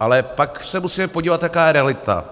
ale pak se musíme podívat, jaká je realita.